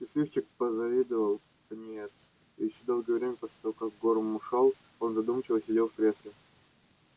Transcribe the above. счастливчик позавидовал пониетс и ещё долгое время после того как горм ушёл он задумчиво сидел в кресле